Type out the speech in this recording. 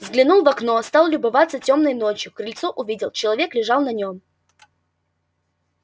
взглянул в окно стал любоваться тёмной ночью крыльцо увидел человек лежал на нем